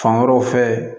Fan wɛrɛw fɛ